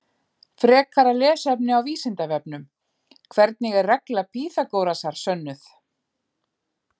Frekara lesefni á Vísindavefnum: Hvernig er regla Pýþagórasar sönnuð?